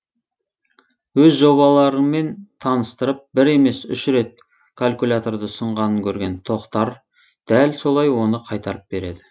өз жобаларынмен таныстырып бір емес үш рет калкуляторды ұсынғанын көрген тохтар дәл солай оны қайтарып береді